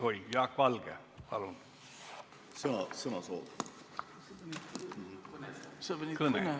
Oi, Jaak Valge, palun!